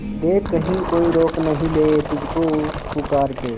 देख कहीं कोई रोक नहीं ले तुझको पुकार के